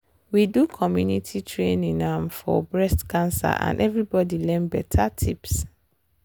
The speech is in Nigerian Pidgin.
we do community training um for breast cancer and everybody learn better tips